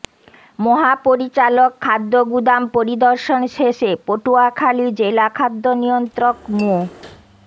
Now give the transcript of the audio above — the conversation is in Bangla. মহাপরিচালক খাদ্য গুদাম পরিদর্শন শেষে পটুয়াখালী জেলা খাদ্য নিয়ন্ত্রক মো